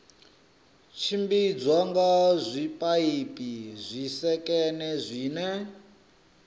tshimbidzwa nga zwipaipi zwisekene zwine